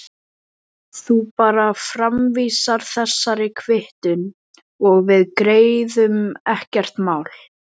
Þú bara framvísar þessari kvittun og við greiðum, ekkert mál.